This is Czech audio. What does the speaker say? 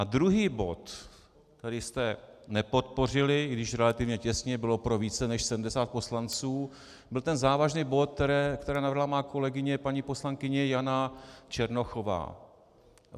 A druhý bod, který jste nepodpořili, i když relativně těsně, bylo pro více než 70 poslanců, byl ten závažný bod, který navrhla moje kolegyně paní poslankyně Jana Černochová.